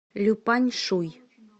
люпаньшуй